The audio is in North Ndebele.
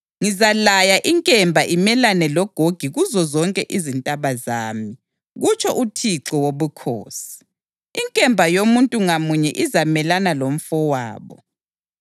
Ngizalaya inkemba imelane loGogi kuzozonke izintaba zami, kutsho uThixo Wobukhosi. Inkemba yomuntu ngamunye izamelana lomfowabo.